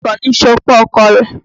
Àdùní ń ṣopó ọkọ rẹ̀.